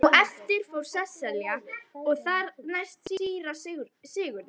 Á eftir fór Sesselja og þar næst síra Sigurður.